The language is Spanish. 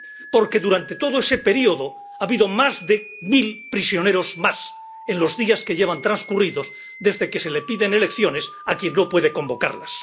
Porque durante todo ese período ha habido más de mil prisioneros más, en los días que llevan transcurridos desde que se le piden elecciones a quien no puede convocarlas.